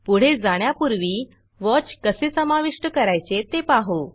पुढे जाण्यापूर्वी वॉच कसे समाविष्ट करायचे ते पाहू